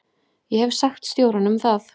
Ég hef sagt stjóranum það.